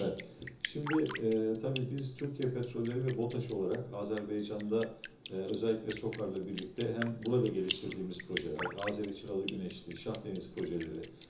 İndi eee təbii ki, biz Türkiyə Petrolları və BOTAŞ olaraq Azərbaycanda eee xüsusilə SOCAR-la birlikdə həm burada inkişaf etdirdiyimiz layihələr, Azəri-Çıraq-Günəşli, Şahdəniz layihələri.